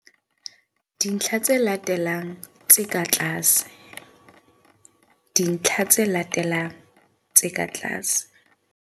Dintlha tse latelang tse ka tlase, dintlha tse latelang tse ka tlase.